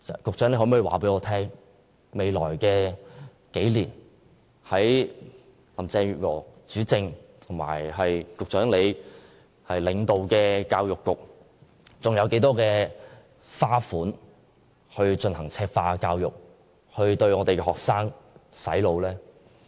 局長可否告訴我，未來數年，在林鄭月娥主政及局長領導下的教育局，還要花多少經費進行"赤化"教育，對我們的學生"洗腦"？